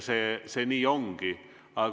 See nii ongi.